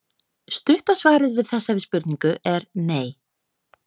Stutta svarið við þessari spurningu er nei.